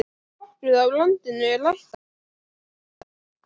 Nokkuð af landinu er ræktað tún.